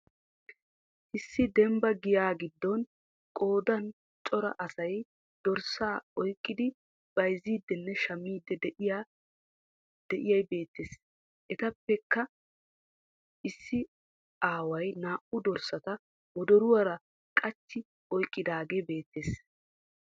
Issi dembba giyaa giddon qoodan cora asay dorssaa oyqqidi bayzzidinne shammiidi de'iyaa beetteess. Etappekkq issi aaway naa'u dorssata wodoruwara qachchi oyqqidaagee beetees.